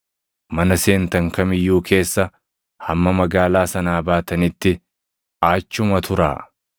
Mana seentan kam iyyuu keessa hamma magaalaa sanaa baatanitti achuma turaa.